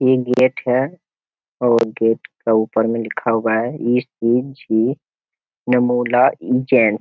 ये गेट है और गेट के ऊपर में लिखा हुआ है ई.सी.जी. नमोला उज्जैन।